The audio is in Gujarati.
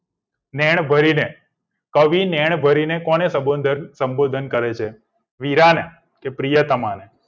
નેણ ભરીને કવી નેણ ભરીને કોને સબોધન કરે છે વીરાને પ્રિયતમાને